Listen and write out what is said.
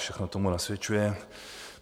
Všechno tomu nasvědčuje.